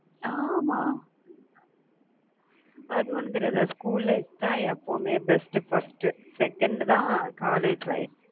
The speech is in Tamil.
ஆமா, அது ஒண்ணும் தெரியாதா? school life தான் எப்பவுமே best first second தான் college life